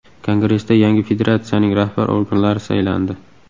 Kongressda yangi federatsiyaning rahbar organlari saylandi.